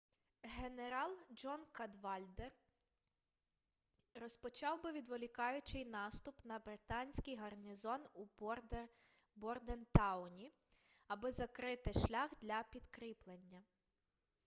генерал джон кадвальдер розпочав би відволікаючий наступ на британський гарнізон у бордентауні аби закрити шлях для підкріплення